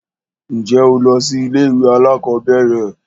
Ǹjẹ́ o lọ sí ilé ìwé alákọ̀berẹ̀?